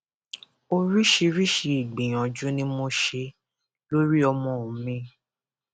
oríṣiríṣiì ìgbìyànjú ni mo ṣe lórí ọmọ mi